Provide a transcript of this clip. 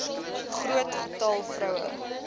groot getal vroue